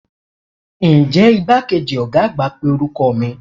Nje igbakeji oga agba pe oruko mi?